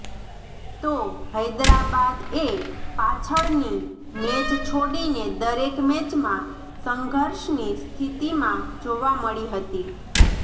તો હૈદરાબાદ એ પાછળની મેચ છોડીને દરેક મેચમાં સંઘર્ષની સ્થિતીમાં જોવા મળી હતી